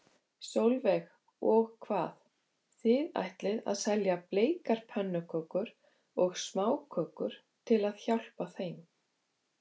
Sólveig: Og hvað, þið ætlið að selja bleikar pönnukökur og smákökur til að hjálpa þeim?